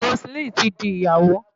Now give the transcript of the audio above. Roseline ti di Ìyàwó.